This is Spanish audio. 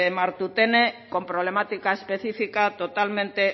martutene con problemática específica totalmente